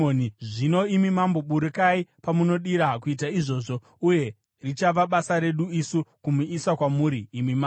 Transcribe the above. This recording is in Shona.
Zvino, imi mambo, burukai pamunodira kuita izvozvo, uye richava basa redu isu kumuisa kwamuri imi mambo.”